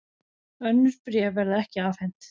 Önnur bréf verða ekki afhent